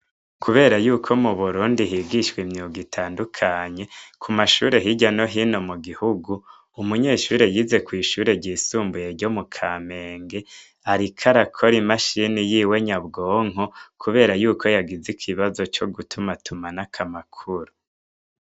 Kubera yuko muburundi higishwa imyuga itandukanye kuma shure hirya no hino mugihugu umunyeshure yize kw'ishuri ryisubuye ryo mukamenge ariko arakora imachine yiwe nyabwonko kubera yuko yagize ikibazo co gutumatumanako amakuru.